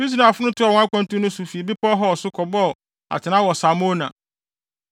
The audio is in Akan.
Israelfo no toaa wɔn akwantu no so fi Bepɔw Hor so kɔbɔɔ atenae wɔ Salmona.